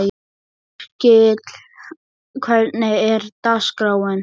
Yrkill, hvernig er dagskráin?